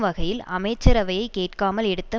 வகையில் அமைச்சரவையை கேட்காமல் எடுத்த